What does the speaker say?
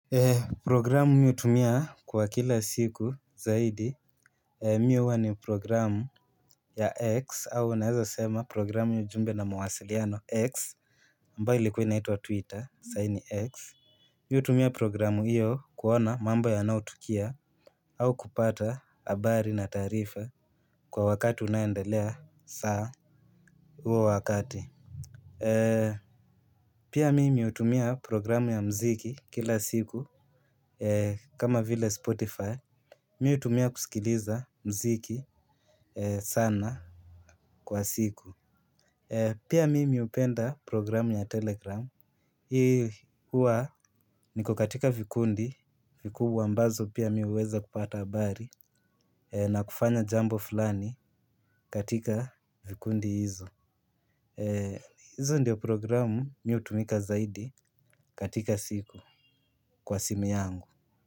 Programu mi hutumia kwa kila siku zaidi mi huwa ni programu ya X au naeza sema programu ya ujumbe na mawasiliano X Ambauo ilikuwa inaitwa twitter sahi ni X. Mi hutumia programu hiyo kuona mambo yanayotukia au kupata habari na taarifa kwa wakati unayendelea saa huo wakati. Pia mimi hutumia programu ya mziki kila siku kama vile spotify. Mi hutumia kusikiliza mziki sana kwa siku. Pia mimi hupenda programu ya telegram. Hii huwa niko katika vikundi vikubwa ambazo pia mi huweza kupata habari na kufanya jambo fulani katika vikundi hizo. Hizo ndio programu mi hutumika zaidi katika siku kwa simu yangu.